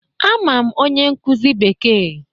Ama m onye nkuzi Bekee